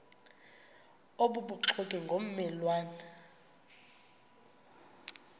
obubuxoki ngomme lwane